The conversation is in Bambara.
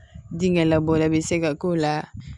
Dingɛ labɔla bɛ se ka k'o la